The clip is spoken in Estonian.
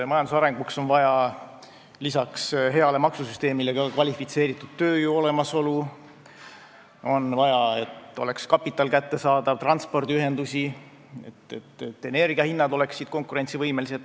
Majanduse arenguks on vaja peale hea maksusüsteemi veel kvalifitseeritud tööjõu olemasolu, on vaja, et kapital oleks kättesaadav, et oleks transpordiühendused ja et energiahinnad oleksid konkurentsivõimelised.